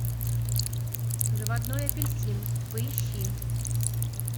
заводной апельсин поищи